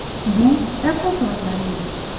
Bu Apple soatlari edi.